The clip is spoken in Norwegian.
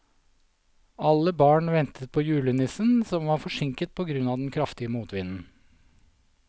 Alle barna ventet på julenissen, som var forsinket på grunn av den kraftige motvinden.